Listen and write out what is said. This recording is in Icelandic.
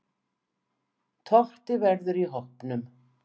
Totti verður í hópnum.